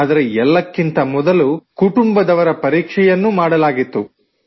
ಆದರೆ ಎಲ್ಲಕ್ಕಿಂತ ಮೊದಲು ಕುಟುಂಬದವರ ಪರೀಕ್ಷೆಯನ್ನೂ ಮಾಡಲಾಗಿತ್ತು